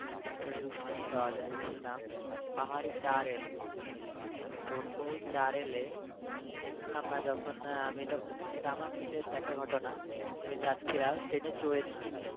একটা rail station পাওয়া যায় যেই স্টেশন এর নাম পাহাড়ি টাৱেল। ওই তো টানেল এ আমরা যখন আমি যখন মানে এটা আমার নিজের দেখা ঘটনা আমি যাচ্ছিলাম। ট্রেনে চরেছি।